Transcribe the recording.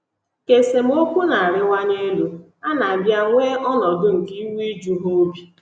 Ka esemokwu na - arịwanye elu, a na - abịa nwee ọnọdụ nke iwe iju ha obi.